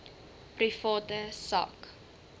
private sak